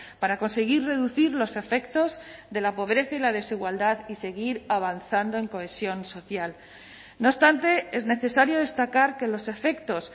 para conseguir reducir los efectos de la pobreza y la desigualdad y seguir avanzando en cohesión social no obstante es necesario destacar que los efectos